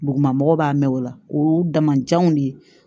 Duguma mɔgɔw b'a mɛn o la o y'u damajanw de